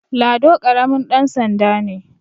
Lado karamin dansanda ne